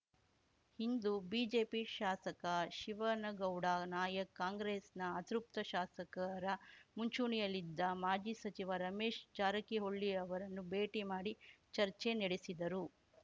ಇಂದು BJP ಶಾಸಕ ಶಿವನಗೌಡ ನಾಯಕ್ ಕಾಂಗ್ರೆಸ್‌ನ ಅತೃಪ್ತ ಶಾಸಕರ ಮುಂಚೂಣಿಯಲ್ಲಿದ್ದ ಮಾಜಿ ಸಚಿವ ರಮೇಶ್ ಜಾರಕಿಹೊಳಿ ಅವರನ್ನು ಭೇಟಿ ಮಾಡಿ ಚರ್ಚೆ ನೆಡೆಸಿದರು